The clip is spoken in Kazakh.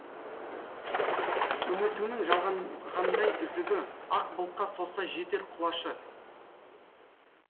үмітіңнің жалғанғандай үзігі ақ бұлтқа созса жетер құлашы